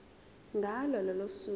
ngalo lolo suku